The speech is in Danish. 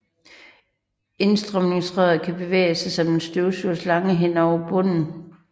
Indstrømningsrøret kan bevæge sig som en støvsugerslange hen over bunden